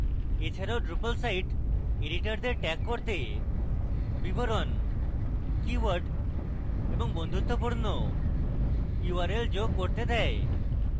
এছাড়াও drupal site এডিটরদের tags জুড়তে বিবরণ keywords এবং বন্ধুত্বপূর্ণ url যোগ করতে দেয়